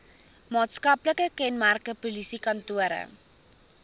maatskaplike kenmerke polisiekantore